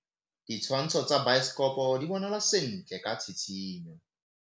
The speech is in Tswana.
Ditshwantshô tsa biosekopo di bonagala sentle ka tshitshinyô.